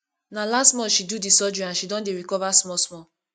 na last month she do di surgery and she don dey recover smallsmall